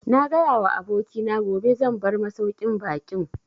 Na gaya wa abokina gobe zan bar masauƙin baƙin